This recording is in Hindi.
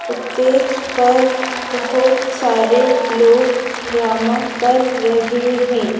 स्टेज पर बहुत सारे लोग ड्रामा कर रहे हैं।